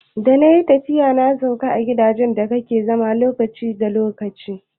Da nayi tafiya na sauka a irin gidajen da ake zama lokaci lokaci